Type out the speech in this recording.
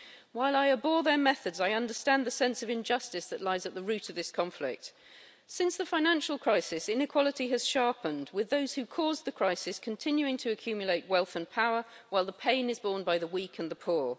While I abhor their methods, I understand the sense of injustice that lies at the root of this conflict. Since the financial crisis, inequality has sharpened, with those who caused the crisis continuing to accumulate wealth and power, while the pain is borne by the weak and the poor.